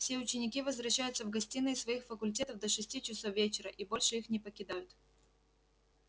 все ученики возвращаются в гостиные своих факультетов до шести часов вечера и больше их не покидают